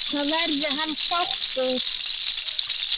Þá verði hann sáttur.